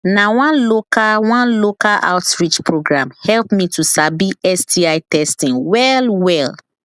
na one local one local outreach program help me to sabi sti testing well well